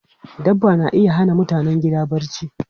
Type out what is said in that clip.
Dabba na iya hana mutanen gida barci.